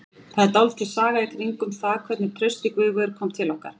Það er dálítil saga í kringum það hvernig Trausti Guðveigur kom til okkar.